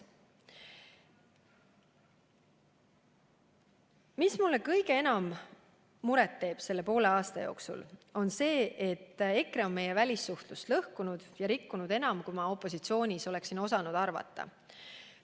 Mis mulle kõige enam muret teeb selle poole aasta jooksul, on see, et EKRE on meie välissuhtlust lõhkunud ja rikkunud enam, kui ma opositsioonis olles oskasin arvata.